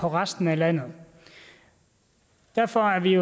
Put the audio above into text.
resten af landet derfor er vi